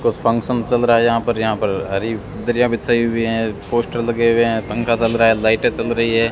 कुछ फंक्शन चल रहा है यहां पर यहां पर हरि दरिया बिछाई हुई है पोस्टर लगे हुए हैं पंखा चल रहा है लाइट जल रही है।